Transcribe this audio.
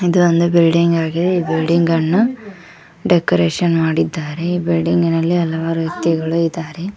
ಇದು ಒಂದು ಬಿಲ್ಡಿಂಗ್ ಆಗಿದೆ ಈ ಬಿಲ್ಡಿಂಗ್ ಅನ್ನು ಡೆಕೋರೇಷನ್ ಮಾಡಿದ್ದಾರೆ ಈ ಬಿಲ್ಡಿಂಗಿನಲ್ಲಿ ಹಲವಾರು ವ್ಯಕ್ತಿಗಳು ಇದ್ದಾರೆ.